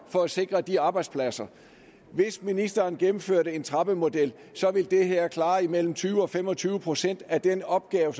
for at sikre de arbejdspladser hvis ministeren ville indføre en trappemodel ville det her klare mellem tyve procent og fem og tyve procent af den opgave